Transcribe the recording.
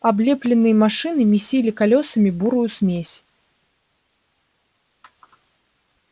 облепленные машины месили колёсами бурую смесь